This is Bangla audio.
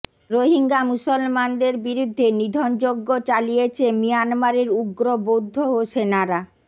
রোহিঙ্গা মুসলমানদের বিরুদ্ধে নিধনযজ্ঞ চালিয়েছে মিয়ানমারের উগ্র বৌদ্ধ ও সেনারা